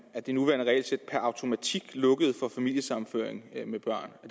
at det nuværende regelsæt per automatik lukkede for familiesammenføring med børn